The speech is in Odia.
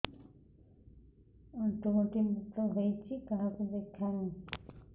ଆଣ୍ଠୁ ଗଣ୍ଠି ବାତ ହେଇଚି କାହାକୁ ଦେଖାମି